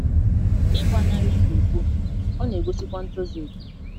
ịgba nari ikwa iko,, ọ na - egosikwa ntozu okè.